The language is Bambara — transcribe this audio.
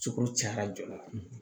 Cokoro cayara joona